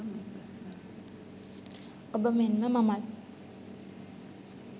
ඔබ මෙන්ම මමත්